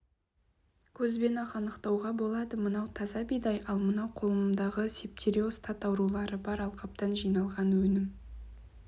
көзбен-ақ анықтауға болады мынау таза бидай ал мынау қолымдағы септериоз тат аурулары бар алқаптан жиналған өнім